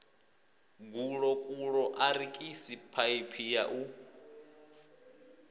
gulokulo arikisi phaiphi ya u